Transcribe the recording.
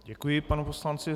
Děkuji panu poslanci.